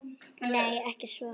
Nei, ekki svo